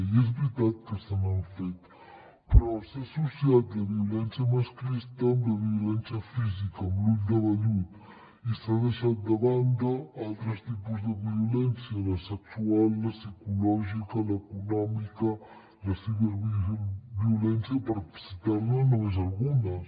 i és veritat que se n’han fet però s’ha associat la violència masclista amb la violència física amb l’ull de vellut i s’ha deixat de banda altres tipus de violència la sexual la psicològica l’econòmica la ciberviolència per citar ne només algunes